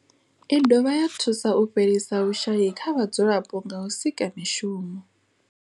I dovha ya thusa u fhelisa vhushayi kha vhadzulapo nga u sika mishumo.